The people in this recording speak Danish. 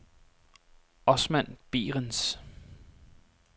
Osman Behrens